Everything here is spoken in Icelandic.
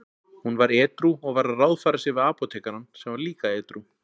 Hún var edrú og var að ráðfæra sig við apótekarann sem var líka edrú.